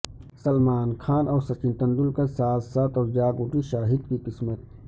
سلمان خان اور سچن تندولکر ساتھ ساتھ اور جاگ اٹھی شاہد کی قسمت